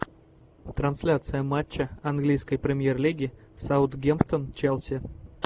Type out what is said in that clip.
трансляция матча английской премьер лиги саутгемптон челси